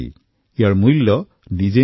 ইয়াৰ নিজা মূল্য নাথাকে